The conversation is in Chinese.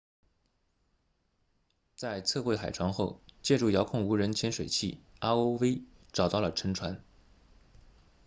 在测绘海床后借助遥控无人潜水器 rov 找到了沉船